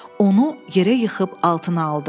Onu yerə yıxıb altına aldı.